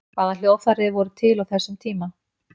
hvaða hljóðfæri voru til á þessum tíma